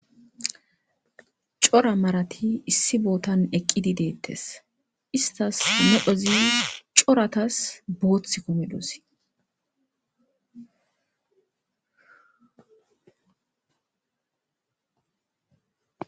Cora marati issi bootan eqqidi deettes istas nedhozi coratas boothth kumidos